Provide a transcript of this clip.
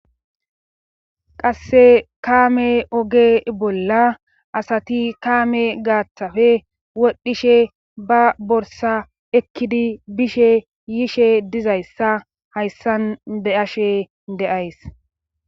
Qasse kaame oge bolla asati kaame gaaththafe wodhdhishe ba borsa ekkidi bishe yishe dizayssa hayssan deashe deays.